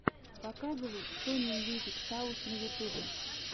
показывай сони мьюзик саус на ютубе